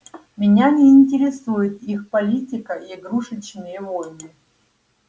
меня не интересует их политика и игрушечные войны